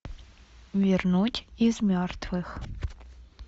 вернуть из мертвых